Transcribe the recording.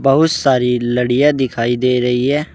बहुत सारी लड़ियां दिखाई दे रही है।